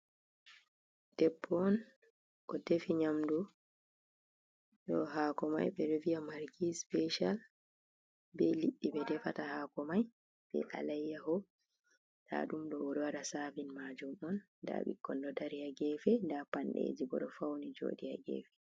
Debbo on o defi nyamdu ɗo haako mai ɓe ɗo viya margi special, be liɗɗi ɓe defata haako mai be alayyaho, nda ɗum oɗo waɗa savin majum on, nda ɓikkon ɗo dari ha gefe nda panɗeeji bo ɗo fawi jooɗi ha gefe.